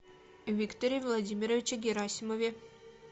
викторе владимировиче герасимове